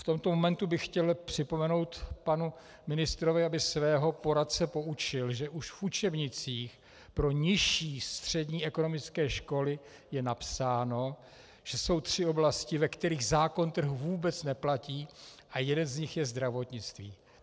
V tomto momentu bych chtěl připomenout panu ministrovi, aby svého poradce poučil, že už v učebnicích pro nižší střední ekonomické školy je napsáno, že jsou tři oblasti, ve kterých zákon trhu vůbec neplatí, a jedna z nich je zdravotnictví.